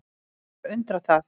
Ekki að undra það.